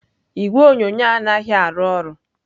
Igwe onyonyo anaghị arụ ọrụ.